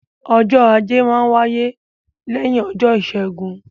Ọjọ́ Ajé máa n wáyé lẹ́yìn ọjọ́ Ìṣẹ́gun